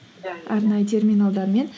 иә иә иә арнайы терминалдармен